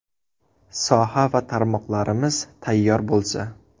Soha va tarmoqlarimiz tayyor bo‘lsa.